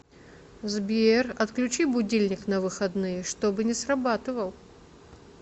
сбер отключи будильник на выходные чтобы не срабатывал